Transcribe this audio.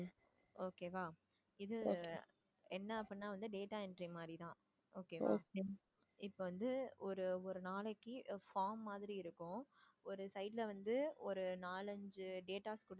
okay வா. இது என்ன அப்படின்னா வந்து data entry மாதிரி தான். இப்ப வந்து ஒரு ஒரு நாளைக்கு form மாதிரி இருக்கும் ஒரு side ல வந்து நாலு, அஞ்சு datas கொடுத்து